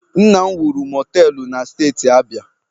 Nna m wuru mọteelụ na Steeti Abia